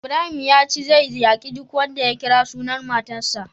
Ibrahim yace zai yaki duk wanda ya kira sunan matarsa.